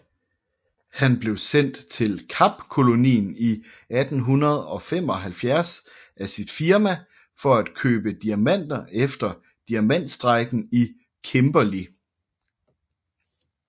Han blev sendt til Kapkolonien i 1875 af sit firma for at købe diamanter efter diamantstrejken i Kimberley